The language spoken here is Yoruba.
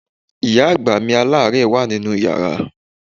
Ìyá àgbà mi aláàárẹ̀ wà nínú yàrá.